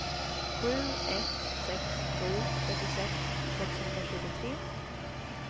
sju ett sex sju trettiosex sexhundratjugotre